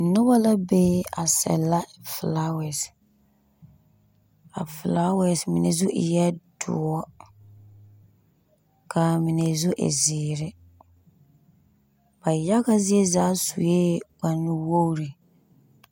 Noba la be a sɛlla felaawɛɛse. a felaawɛɛse mine zu eɛ doɔ. Ka a mine zu e zeere ba yaga zie zaa sue kpare nuwogiri.